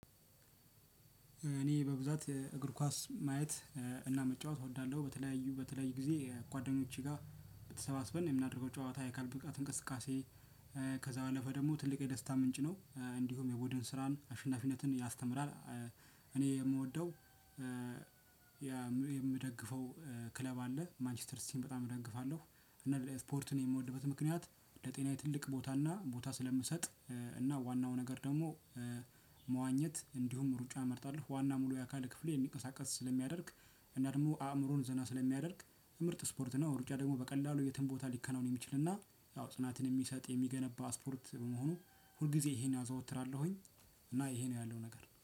እኔ በብዛት እግር ኳስ ማየት እና መጫወት እወዳለሁ በተለያዩ በተለያዩ ጊዜ ጓደኞቼ ጋር ተሰባስበን የምናደርገው ጨዋታ ያካል ብቃት እንቅስቃሴ ከዛ ባለፈ ደግሞ ትልቅ የደስታ ምንጭ ነው እንዲሁም የቡድን ስራን አሸናፊነትን ያስተምራል። እኔ የምወደው የምደግፈው ክለብ አለ ማንችስተር ሲቲን በጣም እደግፋለሁ። እና ስፖርትን የምወድበት ምክንያት ለጤናዬ ትልቅ ቦታና ቦታ ስለምሰጥ። እና ዋናው ነገር ደግሞ መዋኘት እንዲሁም ሩጫ እመርጣለሁ ዋና ሙሉ የአካል ክፍል እንዲንሚቀሳቀስ ስለሚያደርግ እና ደግሞ አእምሮን ዘና ስለሚያደርግ ምርጥ ስፖርት ነው። ሩጫ ደግሞ በቀላሉ የትም ቦታ ሊከናወን የሚችልና ያው ጽናትን የሚሰጥ የሚገነባ ስፖርት በመሆኑ ሁል ጊዜ ይሄን አዘወትራለሁኝ። እና ይሄ ነው ያለው ነገር